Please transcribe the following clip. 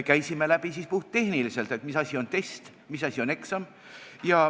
Käisime siis puhttehniliselt läbi, mis asi on test, mis asi on eksam.